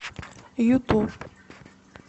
ютуб